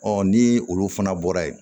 ni olu fana bɔra yen